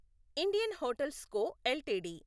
Indian hotels co LTD